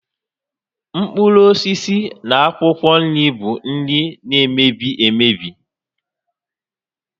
Mkpụrụ osisi na akwụkwọ nri bụ nri na-emebi emebi